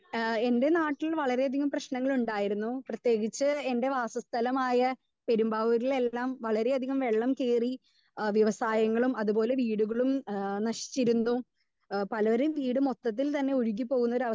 Speaker 2 ആഹ് എന്റെ നാട്ടിൽ വളരെ അധികം പ്രശ്നങ്ങൾ ഉണ്ടായിരുന്നു. പ്രതേകിച്ച് എന്റെ വാസസ്ഥലമായ പെരുമ്പാവൂരിൽ എല്ലാം വളരെ അധികം വെള്ളം കേറി ഏഹ് വ്യവസായങ്ങളും അത് പോലെ വീടുകളും ഏഹ് നശിച്ചിരുന്നു. ഏഹ് പലരുടെയും വീട് മൊത്തത്തിൽ തന്നെ ഒഴുകി പോകുന്ന ഒരു അവസ്ഥ